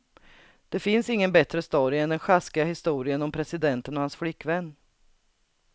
Det finns ingen bättre story än den sjaskiga historien om presidenten och hans flickvän.